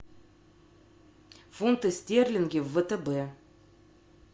фунты стерлингов в втб